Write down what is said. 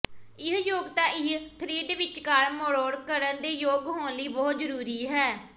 ਇਹ ਯੋਗਤਾ ਇਹ ਥਰਿੱਡ ਵਿਚਕਾਰ ਮਰੋੜ ਕਰਨ ਦੇ ਯੋਗ ਹੋਣ ਲਈ ਬਹੁਤ ਜ਼ਰੂਰੀ ਹੈ